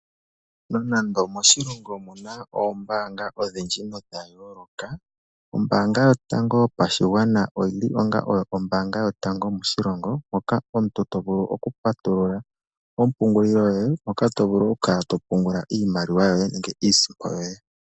Nonando moshilongo mu na oombaanga odhindji nodha yooloka, Ombaanga Yotango Yopashigwana oyi li onga oyo ombaanga yotango moshilongo moka omuntu to vulu okupatulula ompungulilo yoye moka to vulu okukala to pungula iimaliwa yoye nenge iisimpo yoye.